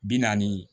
Bi naani